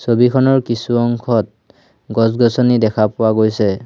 ছবিখনৰ কিছু অংশত গছ গছনি দেখা পোৱা গৈছে।